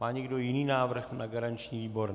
Má někdo jiný návrh na garanční výbor?